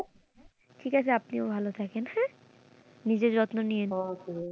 ঠিক আছে আপনিও ভালো থাকেন হ্যাঁ নিজের যত্ন নিয়েন।